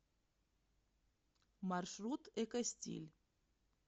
маршрут экостиль